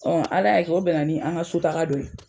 Ala y'a kɛ o bɛnna ni an ŋa so taga don ye.